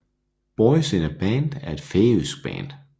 Boys In A Band er et færøsk band